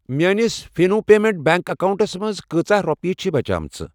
میٲنِس Fino payment bank اکاونٹَس منٛز کۭژاہ رۄپیہِ چھِ بچیمٕژ؟